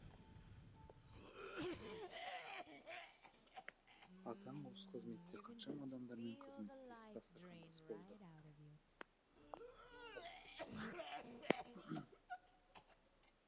атаң осы қызметте қаншама адамдармен қызметтес дастархандас болды